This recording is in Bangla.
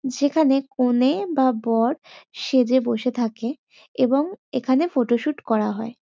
যেখানে কনে বা বর সেজে বসে থাকে এবং এখানে শুট করা হয়।